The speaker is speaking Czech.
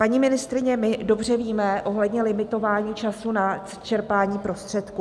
Paní ministryně, my dobře víme ohledně limitování času na čerpání prostředků.